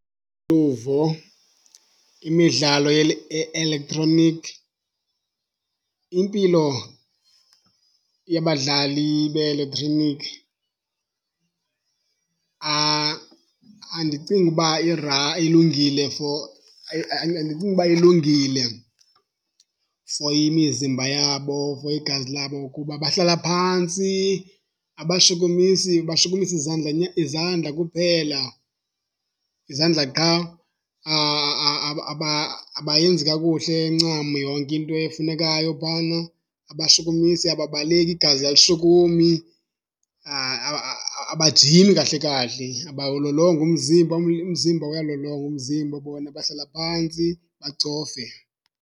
Luvo, imidlalo ye-elektroniki, impilo yabadlali be-eletroniki andicingi uba ilungile for andicingi ukuba ilungile for imizimba yabo, for igazi labo kuba bahlala phantsi, abashukumisi. Bashukumisa izandla izandla kuphela, izandla qha. Abayenzi kakuhle ncam yonke into efunekayo phaana. Abashukumisa, ababaleki, igazi alishukumi. Abajimi kahle kahle, abawulolongi umzimba. Umzimba, uyalolongwa umzimba, bona bahlala phantsi bacofe.